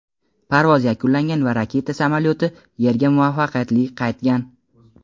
parvoz yakunlangan va raketa samolyoti Yerga muvaffaqiyatli qaytgan.